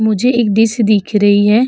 मुझे एक दिश्य दिख रही है।